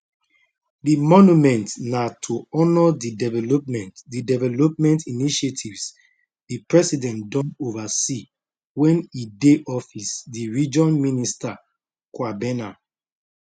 di monument na to honour di development di development initiatives di president don oversee wen e dey office di region minister kwabena